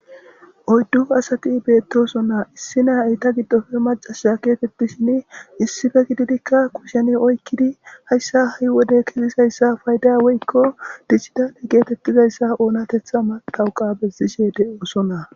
oyddu asati beettosonaa issi naa eyta giddofe macasa keetettishin issife gididikka kusheni oykkidi hayssa ha7i wode kizizayssa fayda weykko dichchida e geetettizayssa oonatetha matawuqa bessishe de7oosonaa